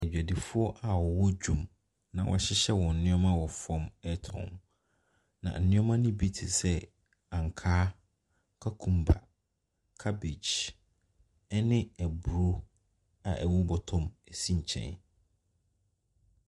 Adwadifoɔ a wɔwɔ dwam na wɔahyehyɛ wɔn nneɛma wɔ fam retɔn. Na nneɛma no bi te sɛ ankaa, cucumber, cabbage ne aburo a ɛwɔ bɔtɔ mu si nkyɛn.